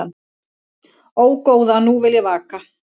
Ó, góða nú vil ég vaka